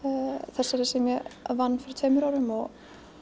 þeirri sem ég vann fyrir tveimur árum og